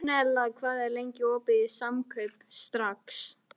Gunnella, hvað er lengi opið í Samkaup Strax?